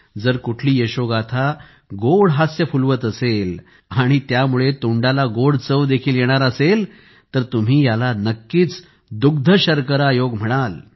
जर कुठली यशोगाथा गोड हास्य फुलवत असेल आणि त्यामुळे तोंडाला गोड चव देखील येणार असेल तर तुम्ही याला नक्कीच दुग्ध शर्करा योगच म्हणाल